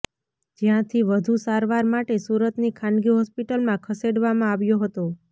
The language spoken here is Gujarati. જ્યાંથી વધુ સારવાર માટે સુરતની ખાનગી હોસ્પિટલમાં ખસેડવામાં આવ્યો હતો